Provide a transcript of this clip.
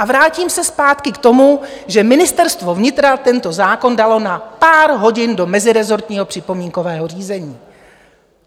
A vrátím se zpátky k tomu, že Ministerstvo vnitra tento zákon dalo na pár hodin do mezirezortního připomínkového řízení.